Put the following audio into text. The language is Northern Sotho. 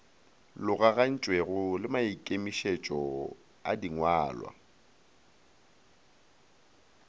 logagantšwego le maikemietšo a dingwalwa